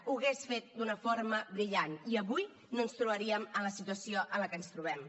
ho hagués fet d’una forma brillant i avui no ens trobaríem en la situació en la que ens trobem